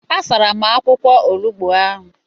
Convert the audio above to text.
A sara m akwụkwọ olugbo ahụ.